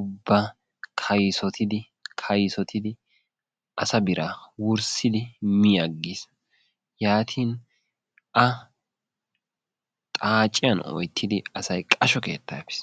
ubba kaysottidi kaysottidi asa biraa wurssidi mi aggis yaatini A xaaciyaani oyttidi asay qasho keettaa efiis.